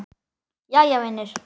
Jæja vinur.